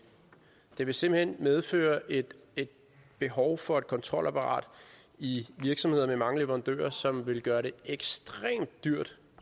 det vil simpelt hen medføre et behov for et kontrolapparat i virksomheder med mange leverandører som vil gøre det ekstremt dyrt